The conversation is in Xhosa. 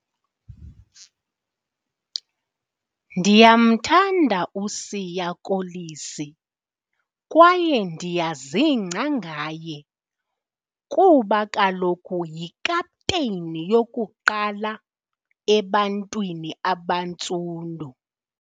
Ndiyamthanda uSiya Kolisi kwaye ndiyazingca ngaye kuba kaloku yikapteyini yokuqala ebantwini abantsundu.